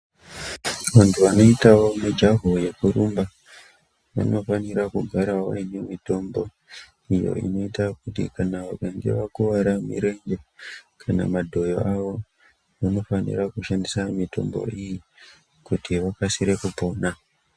Vantu vanoitawo mijaho yekurumba vanofanira kugarawo vaine mitombo iyo inoita kuti kana vakange vakuwara mirenje kana madhoyo avo vanofanira kushandisa mitombo iyi kuti vakasire kupona.